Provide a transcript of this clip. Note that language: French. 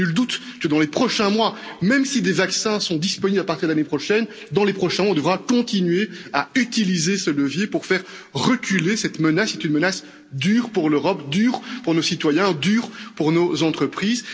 Nul doute, en effet, que dans les prochains mois, même si des vaccins sont disponibles à partir de l'année prochaine, on devra continuer à utiliser ce levier pour faire reculer cette menace, qui est une menace dure pour l'Europe, dure pour nos citoyens, dure pour nos entreprises.